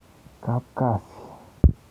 Kap kasi.